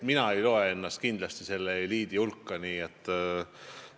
Mina ennast kindlasti selle eliidi hulka ei loe.